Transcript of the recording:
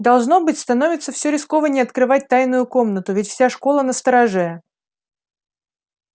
должно быть становится все рискованней открывать тайную комнату ведь вся школа настороже